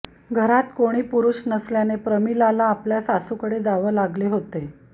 घरात कोणी पुरुष नसल्याने प्रमिलाला आपल्या सासूकडे जावं लागले होते